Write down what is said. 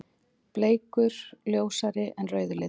Bleikur: Ljósari en rauði liturinn.